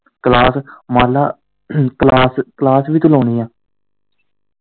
Class ਮੰਨਲਾ class, class ਵੀ ਤੂੰ ਲਾਉਣੀ ਆ।